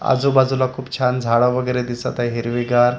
आजूबाजूला खूप छान झाड वगैरे दिसत आहे हिरवीगार.